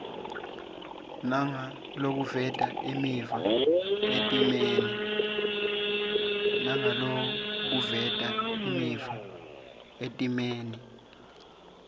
nangalokuveta imiva etimeni